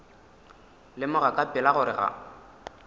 lemoga ka pela gore ga